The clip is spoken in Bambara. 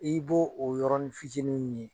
I b'o o yɔrɔnin fitinin min ye